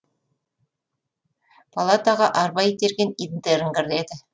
палатаға арба итерген интерн кіреді